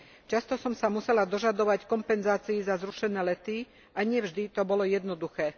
Často som sa musela dožadovať kompenzácií za zrušené lety a nie vždy to bolo jednoduché.